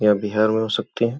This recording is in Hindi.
यह बिहार में हो सकती हैं।